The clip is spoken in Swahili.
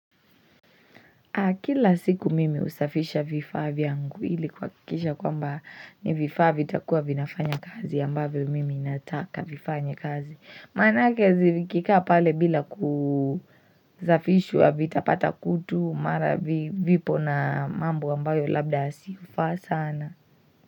Kila siku mimi usafisha vifaa vyangu ili kuakikisha kwa mba ni vifaa vi takua vinafanya kazi ambavyo mimi nataka vifanye kazi. Mana kezi vkikaa pale bila kuzafishwa vitapata kutu mara vipo na mambo ambayo labda siufa sana.